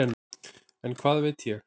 En hvað veit ég.